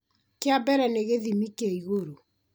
kĩa mbere nĩ gĩthimi kĩa igũrũ